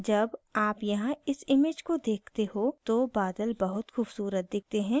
जब आप यहां इस image को देखते हो तो बादल बहुत खूबसूरत दिखते हैं